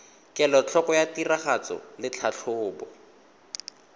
kelotlhoko ya tiragatso le tlhatlhobo